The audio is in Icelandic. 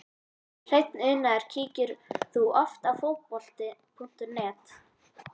Hreinn unaður Kíkir þú oft á Fótbolti.net?